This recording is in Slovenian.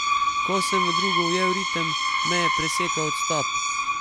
Ko sem v drugo ujel ritem, me je presekal odstop.